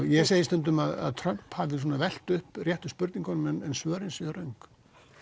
ég segi stundum að Trump hafi velt upp réttu spurningunum en svörin séu röng